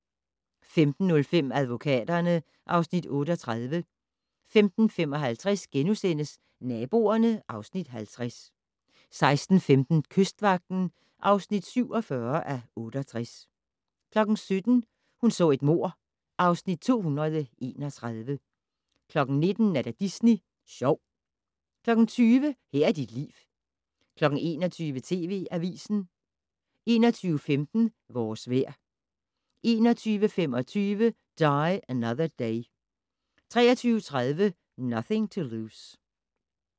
15:05: Advokaterne (Afs. 38) 15:55: Naboerne (Afs. 50)* 16:15: Kystvagten (47:68) 17:00: Hun så et mord (Afs. 231) 19:00: Disney Sjov 20:00: Her er dit liv 21:00: TV Avisen 21:15: Vores vejr 21:25: Die Another Day 23:30: Nothing to Lose